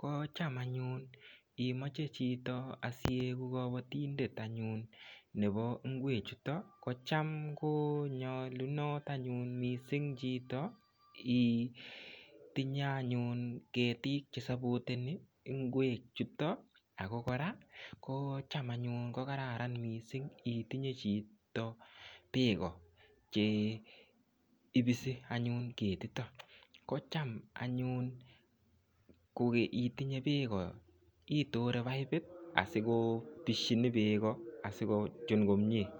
Kocham anyun imoche chito asiyegu kabatindet anyun nebo ingwechuto kocham ko nyalunot anyun mising chito itinye anyun ketiik che sapoteni ingwechuton ago cham anyun kogararan mising itinye chito beek che ipisi ketiton. Kocham anyun koitinye beek, itore paipit asikotisyin beeko asigochun komie.